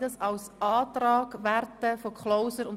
Ich sehe, dass sie nicken.